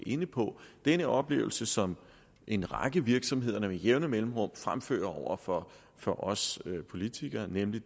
inde på den oplevelse som en række virksomheder med jævne mellemrum fremfører over for for os politikere nemlig